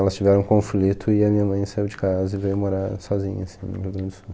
Elas tiveram um conflito e a minha mãe saiu de casa e veio morar sozinha assim no Rio Grande do Sul.